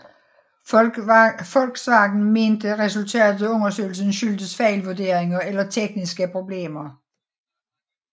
Volkswagen mente resultatet af undersøgelsen skyldtes fejlvurderinger eller tekniske problemer